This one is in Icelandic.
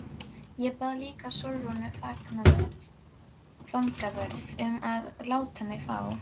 Ég bað líka Sólrúnu fangavörð um að láta mig fá